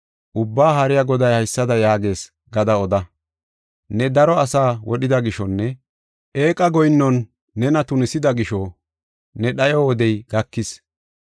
Ubbaa Haariya Goday haysada yaagees gada oda: ne daro asaa wodhida gishonne eeqa goyinnon nena tunisida gisho ne dhayo wodey gakis.